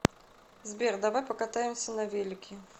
сбер давай покатаемся на велике